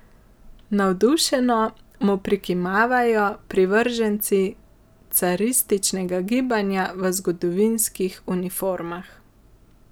Navdušeno mu prikimavajo privrženci carističnega gibanja v zgodovinskih uniformah.